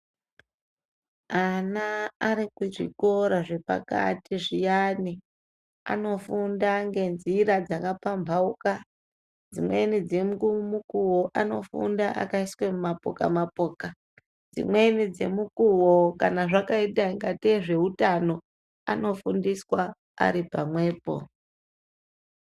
Ana ari kuchikora zvepakati zviyani anofunda nge nzira dzaka pambauka dzimweni dze mukuwo ano funda akaiswe mu mapoka mapoka dzimweni dze mukuwo kana zvakaita kungatee ndezve utano ano fundiswa ari pamwepo.